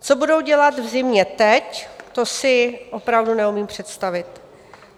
Co budou dělat v zimě teď, to si opravdu neumím představit.